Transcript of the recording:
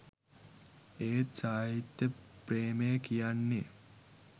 ඒත් සාහිත්‍ය ප්‍රේමය කියන්නෙ